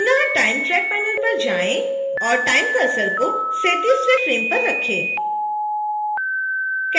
पुनः time track panel पर जाएं और time cursor को 37वें फ्रेम पर रखें